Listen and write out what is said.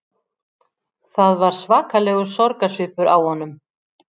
Það var svakalegur sorgarsvipur á honum